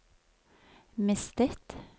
mistet